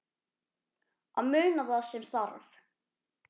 Að muna það sem þarf